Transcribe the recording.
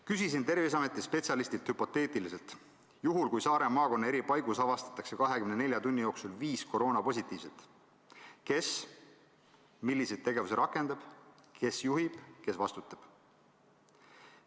Küsisin Terviseameti spetsialistilt hüpoteetiliselt, et juhul, kui Saare maakonna eri paigus avastatakse 24 tunni jooksul viis koroonapositiivset, siis kes milliseid tegevusi rakendab, kes juhib, kes vastutab.